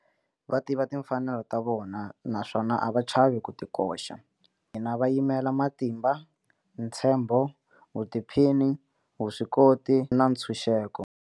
Va tiva timfanelo ta vona naswona a va chavi ku ti koxa. Va yimela matimba, ntshembo, vutiphini, vuswikoti na ntshunxeko.